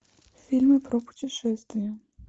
фильмы про путешествия